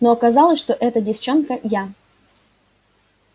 но оказалось что эта девчонка я